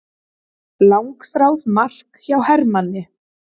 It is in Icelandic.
Langþráð mark hjá Hermanni